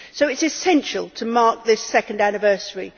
So it is essential to mark this second anniversary.